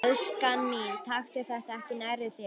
Elskan mín, taktu þetta ekki nærri þér.